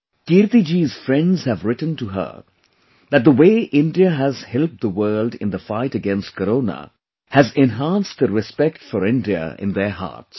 Kirti ji's friends have written to her that the way India has helped the world in the fight against Corona has enhanced the respect for India in their hearts